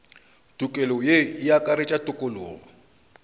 tokelo ye e akaretša tokologo